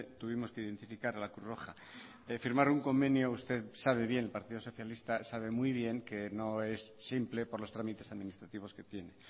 tuvimos que identificar a la cruz roja firmar un convenio usted sabe bien el partido socialista sabe muy bien que no es simple por los trámites administrativos que tiene